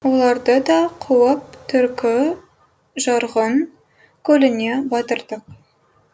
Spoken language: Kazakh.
оларды да қуып түркі жарғұн көліне батырдық